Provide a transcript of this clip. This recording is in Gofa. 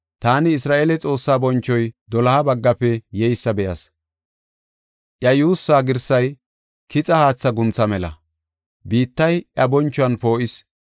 Taani Isra7eele Xoossaa bonchoy doloha baggafe yeysa be7as. Iya yuussaa girsay kixa haatha guntha mela; biittay iya bonchuwan poo7is.